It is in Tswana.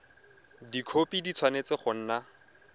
dikhopi di tshwanetse go nna